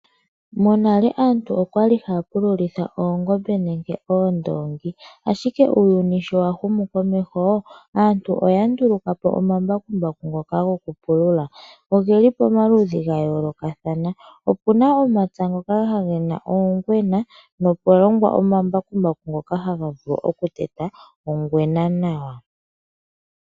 Monale aantu okwa li haya pululitha oongombe nenge oondongi, ashike uuyuni sho wa humu komeho aantu oya nduluka po omambakumbaku ngoka goku pulula. Oge li pomaludhi ga yoolokathana opuna omapya ngoka gena oongwena nokwa longwa omambakumbaku ngoka ha ga vulu oku teta ongwena nawa.